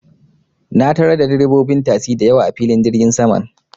Na tarar da direbobin tasi da yawa, a filin jirgin saman.